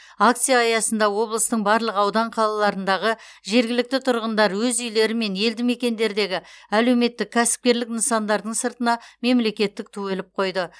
акция аясында облыстың барлық аудан қалаларындағы жергілікті тұрғындар өз үйлері мен елдімекендердегі әлеуметтік кәсіпкерлік нысандардың сыртына мемлекеттік ту іліп қойды